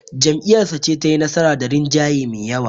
Jam'iyyarsa ce tayi nasara da rinjaye me yawa.